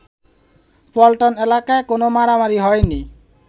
পল্টন এলাকায় কোন মারামারি হয়নি